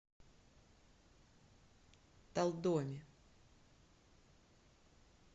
талдоме